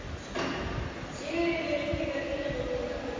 Sigríður Ingibjörg Ingadóttir: Í þinginu í haust?